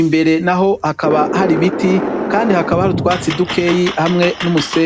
Imbere naho hakaba hari ibiti kandi hakaba hari utwatsi dukeyi, hamwe n'umusenyi.